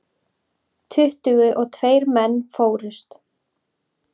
Tuttugu og tveir menn fórust.